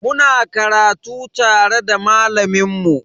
Muna karatu tare da malamin mu.